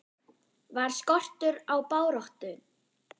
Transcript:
Var skortur á baráttu?